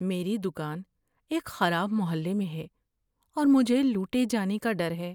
میری دکان ایک خراب محلے میں ہے اور مجھے لوٹے جانے کا ڈر ہے۔